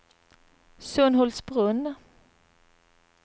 Sunhultsbrunn